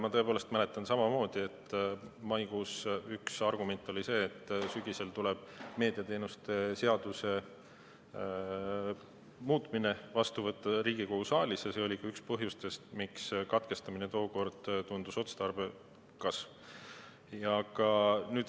Ma tõepoolest mäletan samamoodi, et maikuus üks argument oli see, et sügisel tuleb Riigikogu saalis meediateenuste seaduse muutmine vastu võtta, ja see oli ka üks põhjustest, miks katkestamine tookord otstarbekas tundus.